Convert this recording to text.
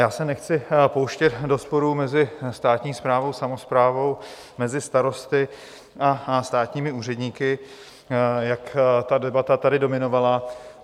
Já se nechci pouštět do sporu mezi státní správou, samosprávou, mezi starosty a státními úředníky, jak ta debata tady dominovala.